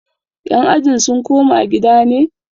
yan ajin sun koma gida ne?